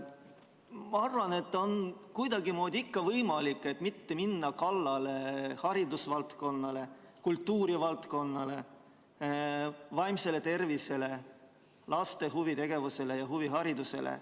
Ma arvan, et kuidagimoodi on ikka võimalik mitte minna kallale haridusvaldkonnale, kultuurivaldkonnale, vaimsele tervisele, laste huvitegevusele ja huviharidusele.